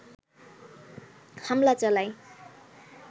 হামলা চালায়